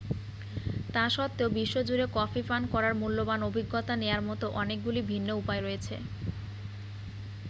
তা সত্ত্বেও বিশ্বজুড়ে কফি পান করার মূল্যবান অভিজ্ঞতা নেয়ার মতো অনেকগুলি ভিন্ন উপায় রয়েছে